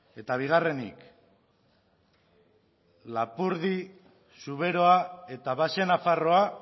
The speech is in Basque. eta bigarrenik lapurdi zuberoa eta baxe nafarroa